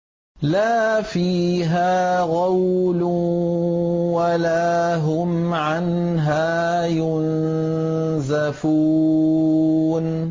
لَا فِيهَا غَوْلٌ وَلَا هُمْ عَنْهَا يُنزَفُونَ